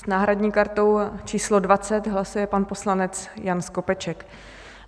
S náhradní kartou číslo 20 hlasuje pan poslanec Jan Skopeček.